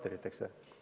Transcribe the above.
Korteriteks või?